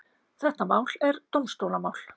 Þetta mál er dómstólamál.